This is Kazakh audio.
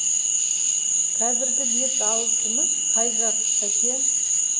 қазіргі бет алысымыз қай жақ сәке